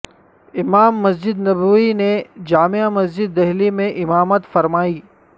امام مسجد نبوی نے جامع مسجد دہلی میں امامت فرمائی